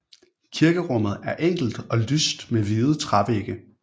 Kirkerummet er enkelt og lyst med hvide trævægge